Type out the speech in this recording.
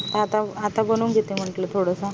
आता आता बनवून घेते म्हणलं थोडासा